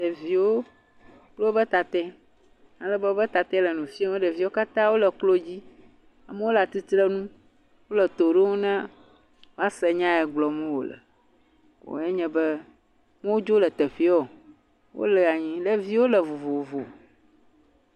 Ɖeviwo kple wobe tatɛ, alebe wobe tatɛ le nu fiem, ɖeviwo katã wole klo dzi. Amewo le atitrenu, wole to ɖom ne woase nya ye gblɔm wòle. Ko ye nye be woadzo le teƒee, wole anyi, ɖevio le vovovo.